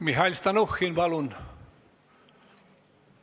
Mihhail Stalnuhhin, palun!